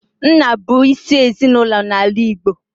Nna bụ isi ezinaụlọ n'ala Igbo.